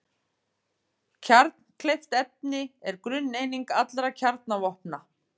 Kjarnkleyft efni er grunneining allra kjarnavopna.